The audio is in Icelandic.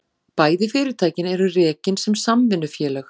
Bæði fyrirtækin eru rekin sem samvinnufélög